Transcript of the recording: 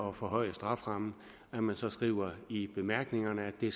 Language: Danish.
at forhøje strafferammen at man så skriver i bemærkningerne at det